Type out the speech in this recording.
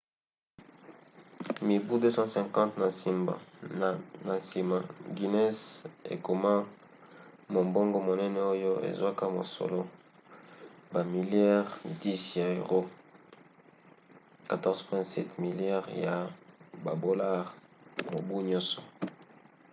mibu 250 na nsima guinness ekoma mombongo monene oyo ezwaka mosolo bamiliare 10 ya euro 14,7 miliare ya badolare mobu nyonso